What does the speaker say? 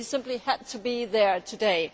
so he simply had to be there today.